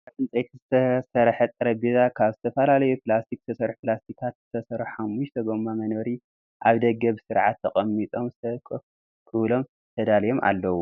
ካብ ዕንፀይቲ ዝተሰረሐ ጠረጰዛን ካብ ዝተፈላለዩ ፕላስቲክ ዝተሰርሑ ፕላስቲካት ዝተሰርሑ 5ተ ጎማ መንበር ኣብ ደገ ብስርዓት ተቀሚጦም ሰብ ከፍ ክብሎም ተዳልዮም ኣለው።